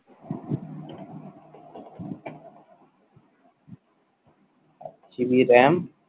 GBRAM